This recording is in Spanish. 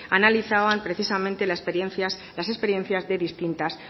analizaban precisamente las experiencias de distintas